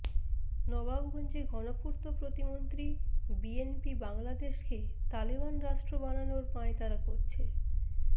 নবাবগঞ্জে গণপূর্ত প্রতিমন্ত্রী বিএনপি বাংলাদেশকে তালেবান রাষ্ট্র বানানোর পাঁয়তারা করছে